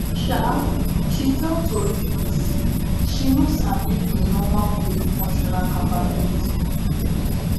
um she tell tori pipo say she no sabi im normal daily functioning capability